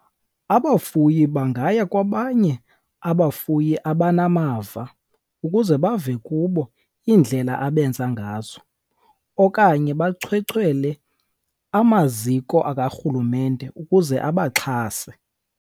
Abafuyi bangaya kwabanye abafuyi abanamava ukuze bave kubo iindlela abenza ngazo, okanye bachwechwele amaziko akarhulumente ukuze abaxhase.